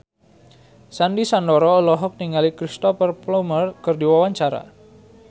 Sandy Sandoro olohok ningali Cristhoper Plumer keur diwawancara